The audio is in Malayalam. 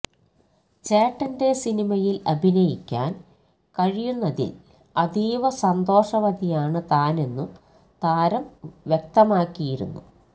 ചേട്ടന്റെ സിനിമയില് അഭിനയിക്കാന് കഴിയുന്നതില് അതീവ സന്തോഷവതിയാണ് താനെന്നും താരം വ്യക്തമാക്കിയിരുന്നു